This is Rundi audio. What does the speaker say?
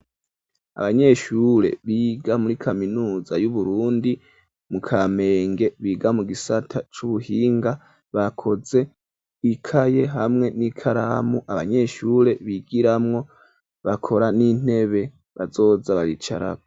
Abanyeshure, biga muri kaminuza y'Uburundi, mu Kamenge, biga mu gisata c'ubuhinga; bakoze ikaye, hamwe n'ikaramu, abanyeshure bigiramwo, bakora n'intebe, bazoza baricarako.